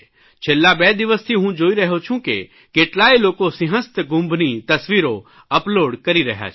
છેલ્લા બે દિવસથી હું જોઇ રહ્યો છું કે કેટલાય લોકો સિંહસ્થ કુંભની તસવીરો અપલોડ કરી રહ્યા છે